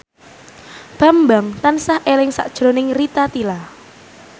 Bambang tansah eling sakjroning Rita Tila